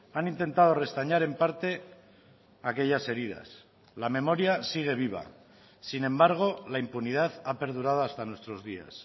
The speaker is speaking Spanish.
han intentado restañar en parte aquellas heridas la memoria sigue viva sin embargo la impunidad ha perdurado hasta nuestros días